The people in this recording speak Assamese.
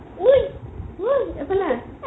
উই উই এইফালে আহ